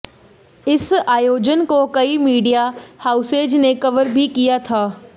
इस आयोजन को कई मीडिया हाउसेज ने कवर भी किया था